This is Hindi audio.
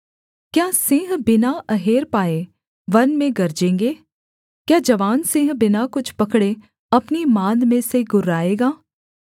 क्या सिंह बिना अहेर पाए वन में गरजेंगे क्या जवान सिंह बिना कुछ पकड़े अपनी माँद में से गुर्राएगा